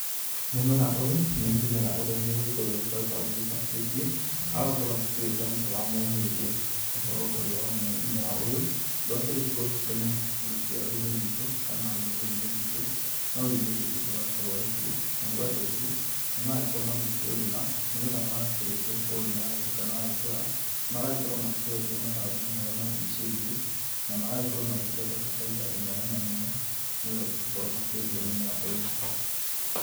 Mũmera ũyũ nĩ mũmera ũrĩa mũgĩkũyũ agĩkoretwo agĩgĩbatithĩtie agagĩkorwo akĩwĩta mũtĩ wa mũhĩndĩ. Ũhoro ũyũ wa mũmera ũyũ ndwakĩrĩ kuo tene rũciaro-inĩ rwitũ, kana rũrĩrĩ-inĩ rwitũ, no rĩu nĩũgĩũkĩte ũgagĩkorwo ũrĩ kuo. Naguo andũ aingĩ, nĩmaragĩkorwo magĩkĩũrĩma, nĩgetha makĩrĩkia kũũrĩma na ũgagĩtuĩka nĩ wa gĩkũra, magagĩkorwo makĩwendia mataũni-inĩ marĩa marigicĩirie na magagĩkorwo magĩgĩthondeka bainda ĩmwe nene mũno, nĩ gũkorwo makĩendia mũmera ũyũ.